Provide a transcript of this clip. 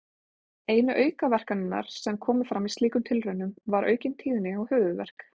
Einu aukaverkanirnar sem komu fram í slíkum tilraunum var aukin tíðni á höfuðverk.